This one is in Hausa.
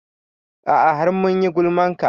A'a har mun yi gulman ka